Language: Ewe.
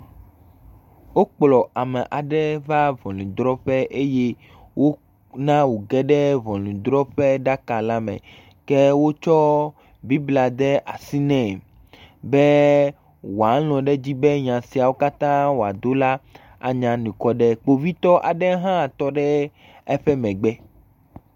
Wokplɔ ame aɖe va ŋɔnudrɔƒe eye wona wò ge ɖe ŋɔnudrɔƒe ɖaka la me. Ke wotsɔ Biblia de asi nɛ be wòalɔ̃ ɖe edzi be nya siawo katã wòado la anye anukuade. Kpovitɔ aɖe hã tɔ ɖe eƒe megbe.